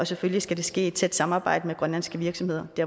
selvfølgelig ske i tæt samarbejde med grønlandske virksomheder